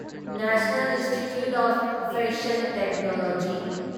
national institute of fashion technology